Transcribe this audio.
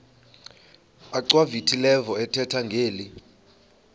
achwavitilevo ethetha ngeli